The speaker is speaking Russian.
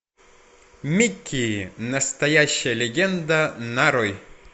микки настоящая легенда нарой